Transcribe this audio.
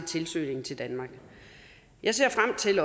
søgningen til danmark jeg ser